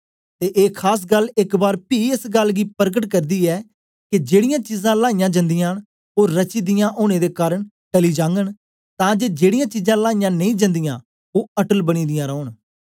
ते ए खास गल्ल एक बार पी एस गल्ल गी परकट करदी ऐ के जेड़ीयां चीजां लाइयां जंदियां न ओ रची दियां ओनें दे कारन टली जागन तां जे जेड़ीयां चीजां लाइयां नेई जंदियां ओ अटल बनी दियां रौन